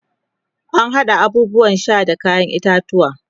ana haɗa abubuwan Sha da kayan itatauwa